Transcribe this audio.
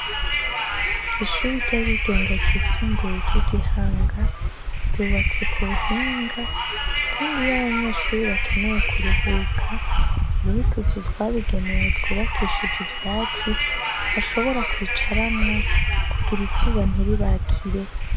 Ishuri ry'abigenga ryisumbuye ry'i Gihanga, ryubatse ku buhinga, kandi iyo abanyeshure bakeneye kuruhuka, hariho utuzu twabigenewe twubakishije ivyatsi, bashobora kwicaramwo, kugira izuba ntiribakire.